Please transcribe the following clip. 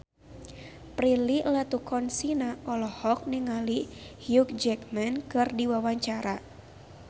Prilly Latuconsina olohok ningali Hugh Jackman keur diwawancara